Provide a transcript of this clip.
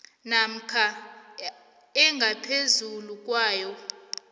namkha engaphezulu kwayo